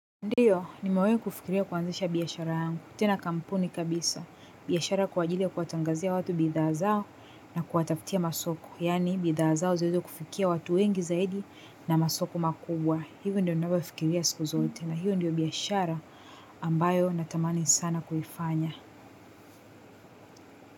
Ndiyo nimewahi kufikiria kuanzisha biashara yangu. Tena kampuni kabisa. Biashara kwa ajili ya kuwatangazia watu bidhaa zao na kuwatafutia masoko yani bidhaa zao ziweze kufikia watu wengi zaidi na masoko makubwa. Hivyo ndio ninavyofikiria siku zote na hivyo ndio biashara ambayo natamani sana kuifanya.